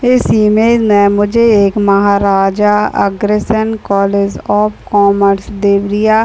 इस इमेज में मुझे एक Maharaja Agrasen college of commerce Deoria --